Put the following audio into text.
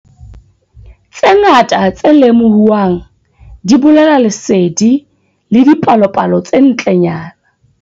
Tse ngata tse lemohuwang di bolela lesedi le dipalopalo tse ntlenyana.